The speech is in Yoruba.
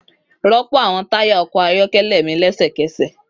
Rọpo awọn taya ọkọ ayọkẹlẹ mi lẹsẹkẹsẹ!